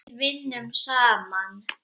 Við vinnum saman!